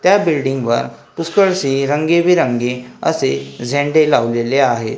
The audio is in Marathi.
त्या बिल्डिंगवर पुष्कळशी रंगीबिरंगी असे झेंडे लावलेले आहेत.